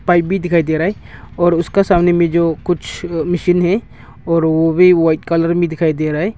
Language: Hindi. पाइप भी दिखाई दे रहा है और उसका सामने में जो कुछ मशीन है और वो भी व्हाइट कलर में दिखाई दे रहा है।